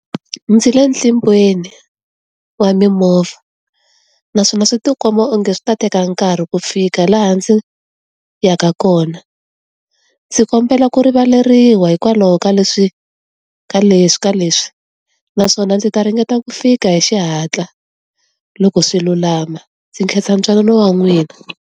Ndzi le ntlimbiweni, wa mimovha. Naswona swi ti komba o nge swi ta teka nkarhi ku fika laha ndzi ya ka kona. Ndzi kombela ku rivaleriwa hikwalaho ka leswi, ka leswi ka leswi. Naswona ndzi ta ringeta ku fika hi xihatla, loko swi lulama. Ndzi nkhensa ntwanano wa n'wina.